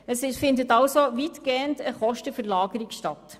Es findet also weitgehend eine Kostenverlagerung statt.